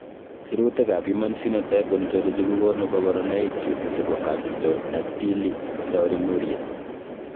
Sirutikab Human Phenotype Ontology kokonu koborunoikchu chebo Camptodactyly taurinuria.